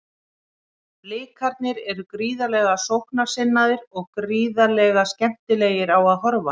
Blikarnir eru gríðarlega sóknarsinnaðir og gríðarlega skemmtilegir á að horfa.